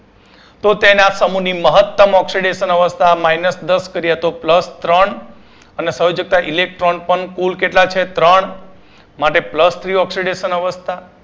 તો તેના સમુહની મહત્તમ oxidation અવસ્થા minus દસ કરીયે તો plus ત્રણ અને સંયોજકતા electron પણ કુલ કેટલા છે ત્રણ માટે plusthreeoxydation અવસ્થા